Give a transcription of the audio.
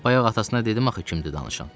Bayaq atasına dedim axı kimdir danışan.